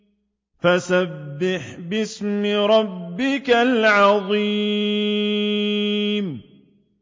فَسَبِّحْ بِاسْمِ رَبِّكَ الْعَظِيمِ